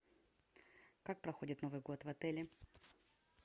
как проходит новый год в отеле